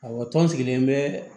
Awɔ tɔn sigilen bɛ